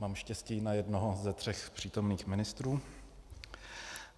Mám štěstí na jednoho ze tří přítomných ministrů.